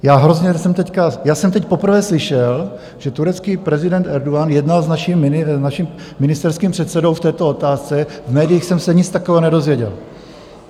Já jsem teď poprvé slyšel, že turecký prezident Erdogan jednal s naším ministerským předsedou v této otázce - v médiích jsem se nic takového nedozvěděl.